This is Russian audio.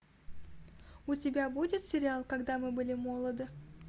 у тебя будет сериал когда мы были молоды